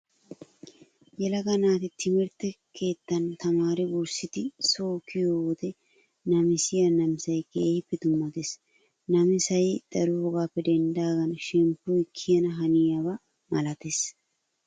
Yelaaga naati timirtte keettan tamaari wurssidi so kiyiyoo wode namisiyaa namisayi keehippe dummates. Namisayi daroogappe denddaagan shemppoyi kiyana haniyooba malates.